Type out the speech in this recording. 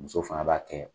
Muso fana b'a kɛ